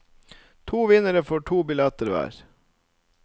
To vinnere få to billetter hver.